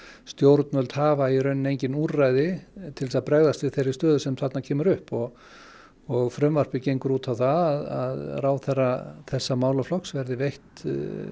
stjórnvöld hafa í raun engin úrræði til þess að bregðast við þeirri stöðu sem þarna er upp og og frumvarpið gengur út á það að ráðherra þessa málaflokks verður veitt